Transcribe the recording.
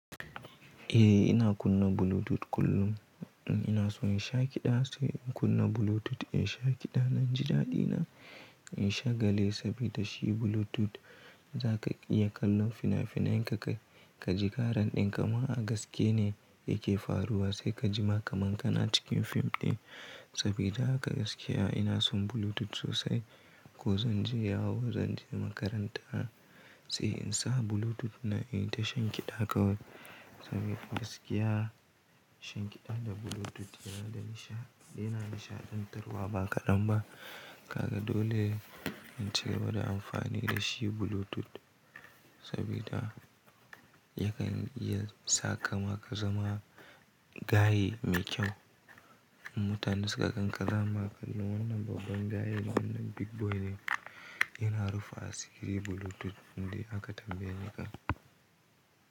Eh ina kunna Bluetooth kullum. Ina son shan kiɗa sai in kunna Bluetooth, in sha kiɗa. Nan ji daɗi na in sha gale saboda shi Bluetooth za ka iya kallon fina-finai, ka ji ƙaran ɗin kamar a gaske ne yake faruwa sai ka ji maka manƙana cikin fim ɗin. Saboda haka gaskiya ina son Bluetooth sosai. Ko zan je yawo, zan je makaranta sai in sa Bluetooth na inta sha kiɗa kawai. Saboda gaskiya sha kiɗa da Bluetooth yana nishaɗantarwa ba ƙadan ba. Kaga dole in ci gaba da amfani da shi Bluetooth saboda yakan iya sa kaima ka zama gaye mai kyau. Mutane su ka gan ka za ama kallon wannan babban gaye wannan big boy ne yana rufa asiri Bluetooth wanda aka tambaye ka.